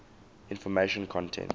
information content